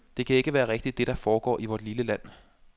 Det kan ikke være rigtigt, det der foregår i vort lille land.